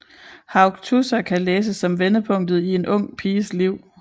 Haugtussa kan læses som vendepunktet i en ung piges liv